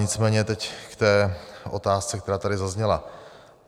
Nicméně teď k té otázce, která tady zazněla.